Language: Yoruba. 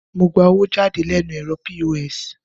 Mo gba owó jáde lẹ́nu ẹ̀rọ POS